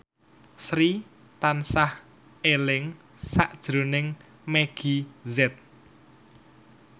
Sri tansah eling sakjroning Meggie Z